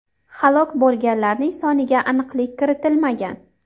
Halok bo‘lganlarning soniga aniqlik kiritilmagan.